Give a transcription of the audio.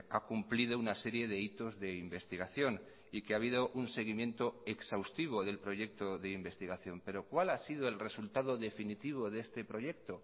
ha cumplido una serie de hitos de investigación y que ha habido un seguimiento exhaustivo del proyecto de investigación pero cuál ha sido el resultado definitivo de este proyecto